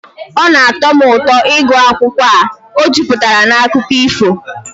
Ọ na-atọ m ụtọ ịgụ akwụkwọ a, ọ juputara na akụkọ ifo